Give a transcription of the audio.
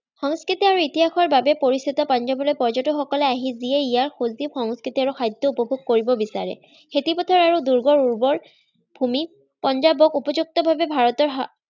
সংস্কৃতি আৰু ইতিহাসৰবাবে পৰিচিত পাঞ্জাৱলৈ পৰ্য্যতকসকল আহি যিয়েই ইয়াৰ সজীৱ, সংস্কৃতি, আৰু খাদ্য উপভোগ কৰিব বিচাৰে। খেতিপথাৰ আৰু দুৰ্গ'ৰ উৰ্বৰ ভুমিত পাঞ্জাৱক উপযুক্তভাৱে ভাৰতৰ